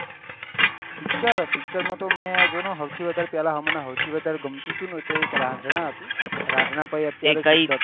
PICTURE PICTURE માં તો હવ થી વધાર પેહલા હમણાં હવ થી વધાર મન ગમતું હતું કે એક રન્જ્હના હતું રન્ઘ્જના ભાઈ અત્યારે